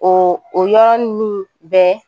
O yɔrɔn ninnu bɛɛ